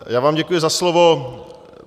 Já vám děkuji za slovo.